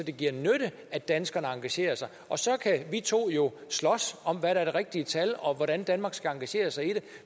det giver nytte at danskerne engagerer sig og så kan vi to jo slås om hvad der er det rigtige tal og hvordan danmark skal engagere sig i det